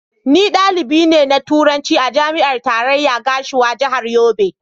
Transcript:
Ni dalibi ne na Turanci a Jami'ar Tarayya Gashua, Jihar Yobe.